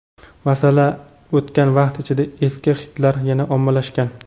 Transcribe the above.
Masalan, o‘tgan vaqt ichida eski xitlar yana ommalashgan.